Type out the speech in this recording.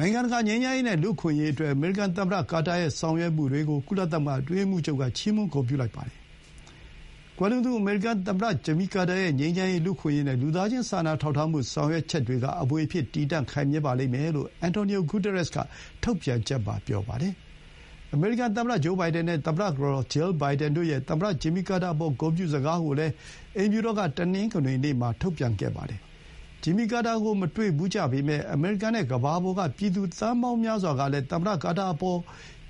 နိုင်ငံတကာ ငြိမ်းချမ်းရေး နဲ့ လူအခွင့်အရေး အတွက် အမေရိကန် သမ္မတ ကာတာရဲ့ ဆောင်ရွက်မှုတွေကို ကုလသမဂ္ဂ အတွင်းရေးမှူးချုပ်က ချီးမွမ်းဂုဏ်ပြု လိုက်ပါတယ်။ ကွယ်လွန်သူ အမေရိကန် သမ္မတ ဂျင်မီ ကာတာရဲ့ ငြိမ်းချမ်းရေး၊ လူ့အခွင့်အရေး နဲ့ လူသားချင်း စာနာထောက်ထားမှု ဆောင်ရွက်ချက်တွေက အမွေအဖြစ် တည်တံ့ ခိုင်မြဲပါလိမ့်မယ်လို့ အင်တော်နီယို ဂူသရက်စ်က ထုတ်ပြန်ချက်မှာ ပြောပါတယ်။ အမေရိကန် သမ္မတ ဂျိုးဘိုင်ဒန် နဲ့ သမ္မတ ကတော် Jill Biden တို့ရဲ့ သမ္မတ ဂျင်မီကာတာ အပေါ် ဂုဏ်ပြု စကားကိုလည်း အိမ်ဖြူတော်က တနင်္ဂနွေနေ့မှာ ထုတ်ပြန်ပါတယ်။ ဂျင်မီကာတာကို မတွေ့ကြဖူးပေမဲ့ အမေရိကန် နဲ့ ကမ္ဘာပေါ်က ပြည်သူ သန်းပေါင်းများစွာကလည်း သမ္မတ ကာတာအပေါ်